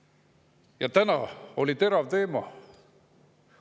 Ja täna oli terav teema.